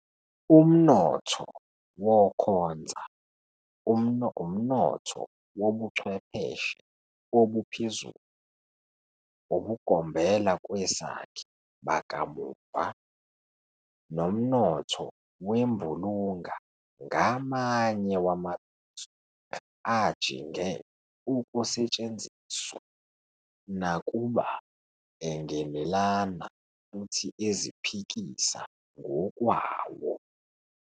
Umnotho wokhonza, umnotho wobuchwepheshe obuphezulu, ubugombelakwesakhe bakamuva, nomnotho wembulunga ngamanye wamabizo ajinge ukusetshenziswa, nakuba engenelana futhi eziphikisa ngokwawo.